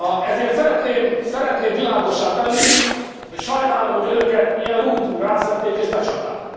Ezért szeretném világossá tenni, hogy sajnálom, hogy önöket ilyen rútul rászedték és becsapták.